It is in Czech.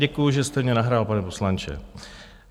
Děkuji, že jste mně nahrál, pane poslanče.